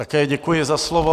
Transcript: Také děkuji za slovo.